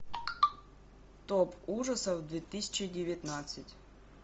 топ ужасов две тысячи девятнадцать